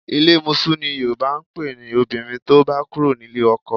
Ilé mosú ni Yòrùbá ń pe obìnrin tó bá kúrò nílé ọkọ